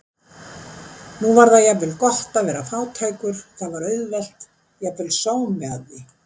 Nú var það jafnvel gott að vera fátækur, það var auðvelt, jafnvel sómi að því.